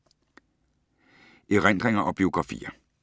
Erindringer og biografier